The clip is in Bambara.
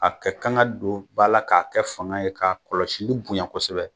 A kɛ kan ka don bala k'a kɛ fanga ye k'a kɔlɔsili bonya kosɛbɛ